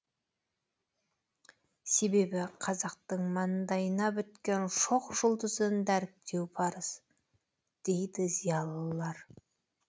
себебі қазақтың маңдайына біткен шоқ жұлдызын дәріптеу парыз дейді зиялылар